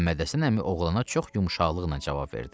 Məhəmməd Həsən əmi oğlana çox yumşaqlıqla cavab verdi.